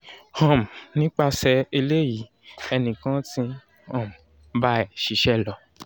um nípasè eléyìí ènì kan ti ń um bá ẹ ṣíṣẹ́ lọ